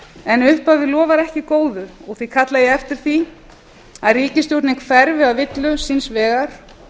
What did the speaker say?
en upphafið lofar ekki góðu og því kalla ég eftir því að ríkisstjórnin hverfi af villu síns vegar